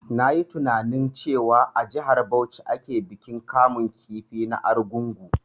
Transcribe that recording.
Na yi tininain cewa a jihar Bauchi ake bikin kamun kifi na argungu